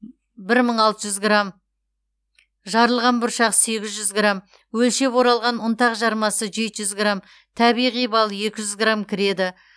бір мың алты жүз грамм жарылған бұршақ сегіз жүз грамм өлшеп оралған ұнтақ жармасы жеті жүз грамм табиғи бал екі жүз грамм кіреді